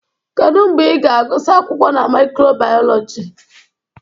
Kedu mgbe ị ga-agụsị akwụkwọ na micro-biology?